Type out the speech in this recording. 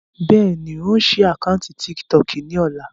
Bẹ́ẹ̀ni, ń ó sì àkántì "tíkítọọ́kì" ni ọ̀la.